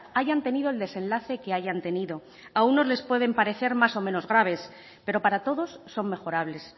hayan tenido el desenlace que hayan tenido a unos les pueden parecer más o menos graves pero para todos son mejorables